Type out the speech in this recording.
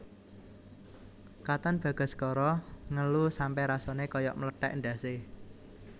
Katon Bagaskara ngelu sampe rasane koyok mlethek ndhas e